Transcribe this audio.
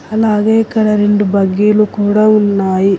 అలాగే ఇక్కడ రెండు బగ్గీలు కూడా ఉన్నాయి.